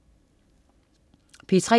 P3: